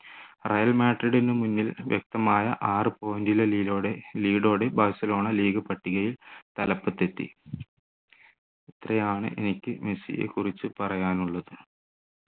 Real മാഡ്രിഡിന് മുന്നിൽ വ്യക്തമായ ആറ് point lead ഓടെ ബാഴ്സലോണ league പട്ടികയിൽ തലപ്പത്തെത്തി ഇത്രയാണ് എനിക്ക് മെസ്സിയെ കുറിച്ച് പറയാനുള്ളത്